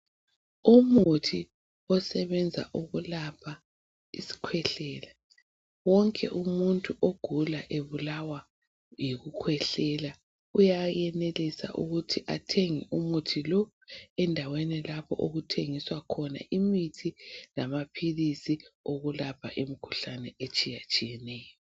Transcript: Umuthi osebenza ukulapha isikhwehlela wonke umuntu ogula ebulawa yikukhwehlela uyayenelisa ukuthi athenge umuthi lo endaweni lapho okuthengiswa khona imithi lamaphilisi okulapha imikhuhlane etshiyatshiyeneyo